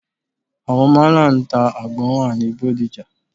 Àwọn málà ń ta àgbọn wà ní Bódìjà.